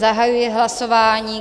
Zahajuji hlasování.